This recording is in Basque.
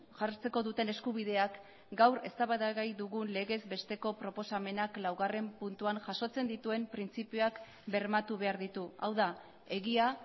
jartzeko duten eskubideak gaur eztabaidagai dugun legezbesteko proposamenak laugarren puntuan jasotzen dituen printzipioak bermatu behar ditu hau da egia